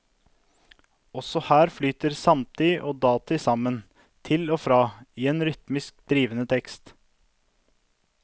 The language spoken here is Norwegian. Også her flyter samtid og datid sammen, til og fra, i en rytmisk drivende tekst.